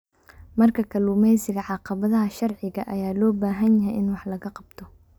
Marka kalluumeysiga, caqabadaha sharciga ah ayaa loo baahan yahay in wax laga qabto.